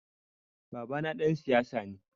Babana ɗan siyasa ne.